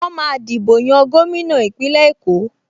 Wọ́n máa dìbò yan gómìnà Ìpínlẹ̀ Èkó